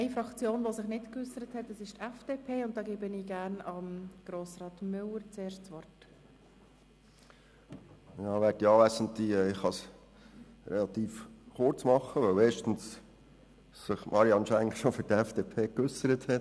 Ich kann es relativ kurz machen, weil sich Grossrätin Marianne Schenk bereits für die FDP geäussert hat.